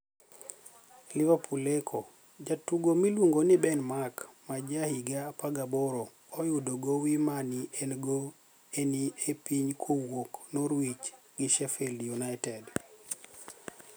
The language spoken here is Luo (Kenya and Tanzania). (Liverpool Echo)Jatugo miluonigo nii Beni Mark ma ja higa 18 oyudo gowi mani egoni e nii piniy kowuok kuom norwich gi Sheffied uniited.